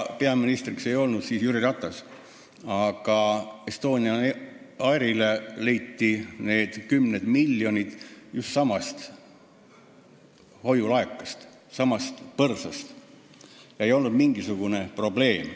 Peaminister ei olnud siis Jüri Ratas, aga Estonian Airile leiti need kümned miljonid just samast hoiulaekast, samast põrsast – ei olnud mingisugust probleemi.